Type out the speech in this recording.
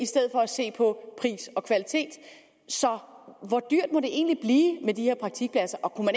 se på pris og kvalitet så hvor dyrt må det egentlig blive med de her praktikpladser og kunne